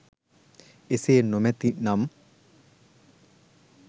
ඒසේ නොමැති නම්